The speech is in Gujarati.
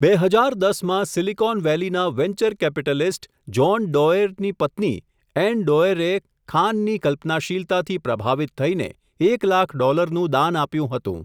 બે હજાર દસ માં સિલિકોન વેલીના વેન્ચર કેપિટલિસ્ટ, જોન ડોએરની પત્ની એન ડોએરેએ ખાનની કલ્પનાશીલતાથી પ્રભાવિત થઈને, એક લાખ ડોલરનું દાન આપ્યું હતું.